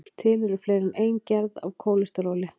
til eru fleiri en ein gerð af kólesteróli